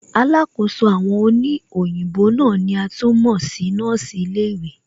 Alákòóso àwọn òní òyìnbó náà ni a tún mọ̀ sí nọ́ọ̀sì ilé ìwé